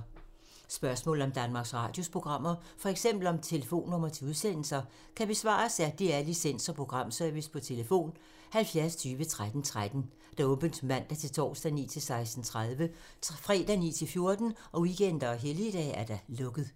Spørgsmål om Danmarks Radios programmer, f.eks. om telefonnumre til udsendelser, kan besvares af DR Licens- og Programservice: tlf. 70 20 13 13, åbent mandag-torsdag 9.00-16.30, fredag 9.00-14.00, weekender og helligdage: lukket.